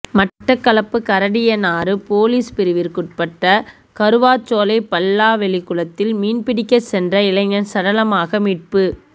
Batticaloa Karadiyanaru police பிரிவிற்குட்பட்ட கறுவாச்சோலை பல்லாவெளிக்குளத்தில் மீன் பிடிக்க சென்ற இளைஞன் சடலமாக மீட்பு